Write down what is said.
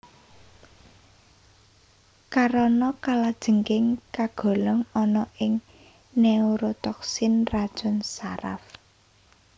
Karana kalajengking kagolong ana ing neurotoksin racun saraf